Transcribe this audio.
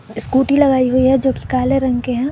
Scooty लगाई हुई है जो कि काले रंग के हैं।